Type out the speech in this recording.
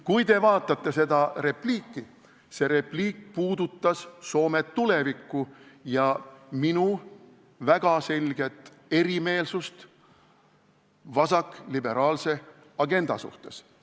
Kui te vaatate seda repliiki – see repliik puudutas Soome tulevikku ja minu väga selget erimeelsust vasakliberaalse agenda suhtes.